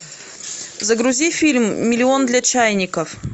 загрузи фильм миллион для чайников